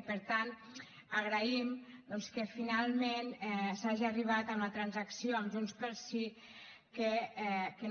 i per tant agraïm doncs que finalment s’hagi arribat a una transacció amb junts pel sí que